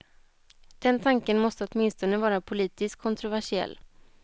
Den tanken måste åtminstone vara politiskt kontroversiell.